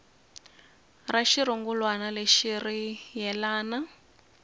ra xirungulwana lexi ri yelana